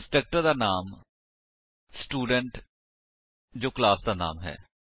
constructor ਦਾ ਨਾਮ student ਜੋ ਕਲਾਸ ਦਾ ਨਾਮ ਹੈ